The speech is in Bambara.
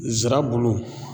Zirabulu